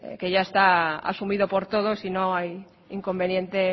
que ya está asumido por todos y no hay inconveniente